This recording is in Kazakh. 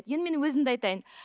енді мен өзімді айтайын